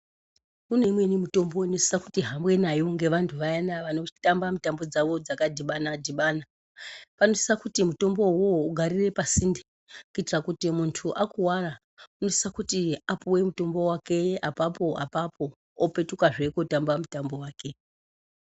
Kune dzimweni mitombo dzinosise kuhambwa nadzo nevaya vanotamba mitambo dzavo dzakadhibana dhibana. Vanosise kuti mitombo iyoyo igarire pasinde kuitira kuti kana munhu akuwara unosise apuwe mutombo wake apapo apapo opetukazve kootamba mitambo wake.